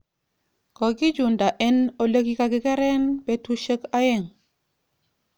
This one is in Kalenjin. Kokichunda eng elekikakikeren betushek aeng